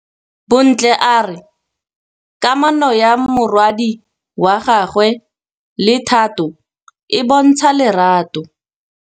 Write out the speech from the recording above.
Bontle a re kamanô ya morwadi wa gagwe le Thato e bontsha lerato.